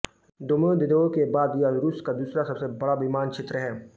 Domodedovo के बाद यह रूस का दूसरा सबसे बड़ा विमानक्षेत्र है